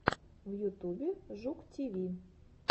в ютубе жук тиви